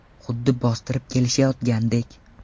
Xuddi bostirib kelishayotgandek.